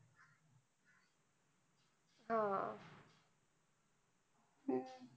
हम्म